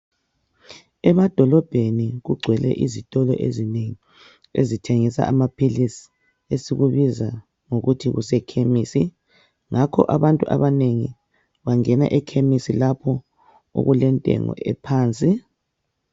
Emadolobheni kugcwele izitolo ezinengi ezithengisa amaphilisi esikubiza ngokuthi kusekhemisi ngakho abantu abanengi bangena ekhemisi lapho okulentengo ephansi.